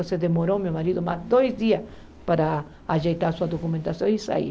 Então demorou meu marido mais dois dias para ajeitar sua documentação e sair.